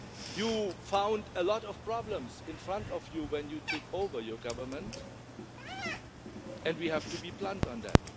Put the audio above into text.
You found a lot of problems in front of you when you took over in government and we have to be blunt on that.